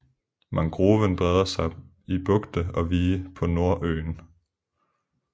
Mangroven breder sig i bugte og vige på Nordøen